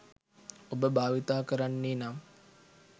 ඔබභාවිතා කරන්නේ නම්